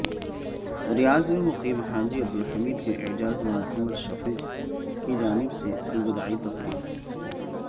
ریاض میں مقیم حاجی عبدالحمید کے اعزازمیں محمد شفیق کیجانب سے الوداعی تقریب